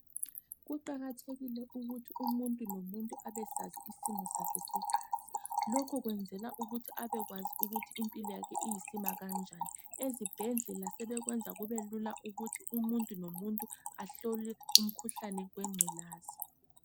Kuqakathekile ukuthi umuntu lomuntu abesazi isimo sakhe segazi. Lokhu kwenzela ukuthi abekwazi ukuthi impiloyakhe iyisimakanjani. Ezibhedlela sebekwenza kubelula ukuthi umuntu lomuntu ahlole umkhuhlane wengculaza.